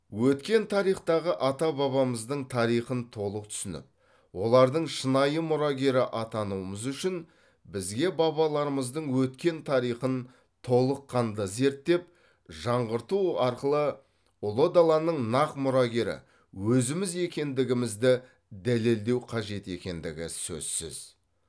өткен тарихтағы ата бабамыздың тарихын толық түсініп олардың шынайы мұрагері атануымыз үшін бізге бабаларымыздың өткен тарихын толыққанды зерттеп жаңғырту арқылы ұлы даланың нақ мұрагері өзіміз екендігімізді дәлелдеу қажет екендігі сөзсіз